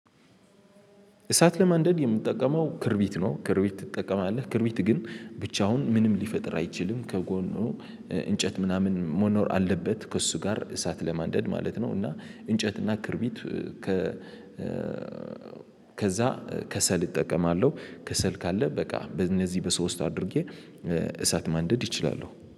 እሳት ለማንደድ የምትጠቀመው ክርቢት ነው? ክርቢት ትጠቀማለህ ክርቢት ግን ብቻውን ምንም ሊፈጥር አይችልም ከጎኑ እንጨት ምናምን ሞኖር አለበት ከእሱ ጋር እሳት ለማንደድ ማለት ነው። እና እንጨትና ክርቢት ከ ከዛ ከሰል እጠቀማለሁ። ከሰል ካለ በቃ በእነዚህ በሰው ውስጥ አድርጌ እሳት ማንደድ እችላለሁ